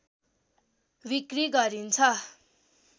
बिक्री गरिन्छ